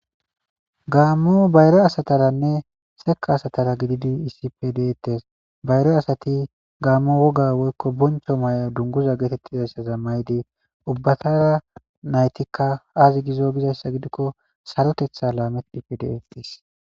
Gaammu bayre asataranne seka asatara gididi issife deettes bayre asati gaammu woga woykko boncho may'a dunguza geetettizayssaza mayidi ubbatara naytikka aazi gizo bizayssa gidikko sarotetha laamedhife deettes.